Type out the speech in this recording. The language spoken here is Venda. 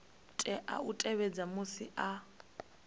tea u tevhedza musi a